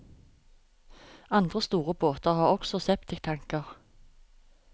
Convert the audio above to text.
Andre store båter har også septiktanker.